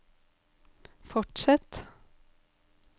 fortsett